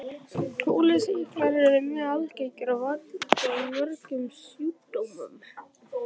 Kúlusýklar eru mjög algengir og valda mörgum sjúkdómum.